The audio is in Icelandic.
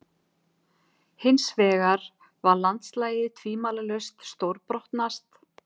Hinsvegar var landslagið tvímælalaust stórbrotnast.